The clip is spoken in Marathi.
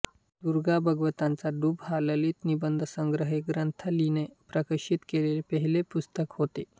दुर्गा भागवतांचा डूब हा ललितनिबंध संग्रह हे ग्रंथालीने प्रकाशित केलेले पहिले पुस्तक होते